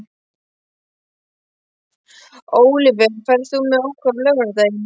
Ólíver, ferð þú með okkur á laugardaginn?